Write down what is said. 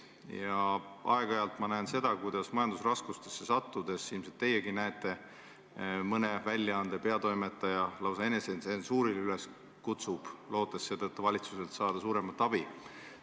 Ja aeg-ajalt ma näen seda – ilmselt näete teiegi –, kuidas majandusraskustesse sattudes kutsub mõne väljaande peatoimetaja üles lausa enesetsensuurile, lootes selle tulemusena saada valitsuselt suuremat abi.